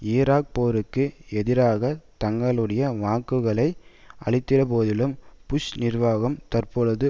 Iraq போருக்கு எதிராக தங்களுடைய வாக்குகளை அளித்தபோதிலும் புஷ் நிர்வாகம் தற்பொழுது